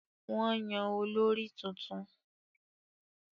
Wọ́n yàn olórí tuntun